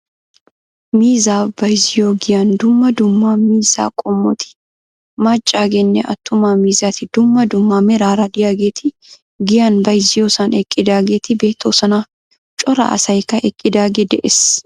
Miizzaa bayzziyoo giyaan dumma dumma miizzaa qoommoti maccaageenne attumma miizzati dumma dumma meraara de'iyaageti giyaan bayzziyoosan eqqidaageti beettoosona. Cora asaykka eqqidaagee de'ees.